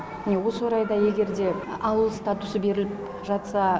міне осы орайда егер де ауыл статусы беріліп жатса